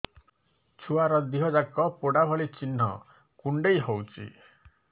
ଛୁଆର ଦିହ ଯାକ ପୋଡା ଭଳି ଚି଼ହ୍ନ କୁଣ୍ଡେଇ ହଉଛି